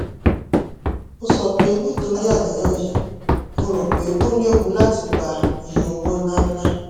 ó sọ pé nítorí àníyàn yìí mo rò pé ó léwu láti pa iye owó ńláńlá